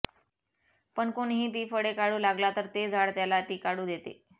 पण कोणीही ती फळे काढू लागला तर ते झाड त्याला ती काढू देते